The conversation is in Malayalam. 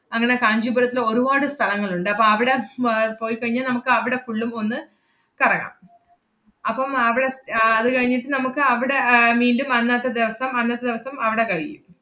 അങ്ങനെ കാഞ്ചീപുരത്തില് ഒരുവാട് സ്ഥലങ്ങളുണ്ട്. അപ്പ അവിടെ ഉം ആഹ് പോയിക്കഴിഞ്ഞാ നമ്മക്കവടെ full ഉം ഒന്ന് കറങ്ങാം. അപ്പം അവടെ ആഹ് അത് കഴിഞ്ഞിട്ട് നമ്മക്കവടെ മീണ്ടും അന്നത്തെ ദെവസം അന്നത്തെ ദെവസം അവടെ കഴിയും.